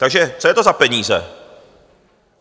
Takže co je to za peníze?